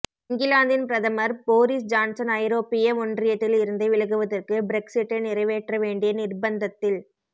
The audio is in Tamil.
இங்கிலாந்தின் பிரதமர் போரிஸ் ஜான்சன் ஐரோப்பிய ஒன்றியத்தில் இருந்து விலகுவதற்கு பிரெக்சிட்டை நிறைவேற்ற வேண்டிய நிர்ப்பந்தத்தில்